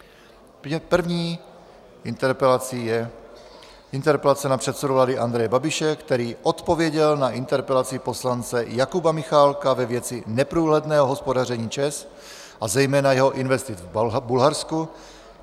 První interpelací je interpelace na předsedu vlády Andreje Babiše, který odpověděl na interpelaci poslance Jakuba Michálka ve věci neprůhledného hospodaření ČEZ a zejména jeho investic v Bulharsku.